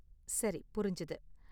சரி, புரிஞ்சது.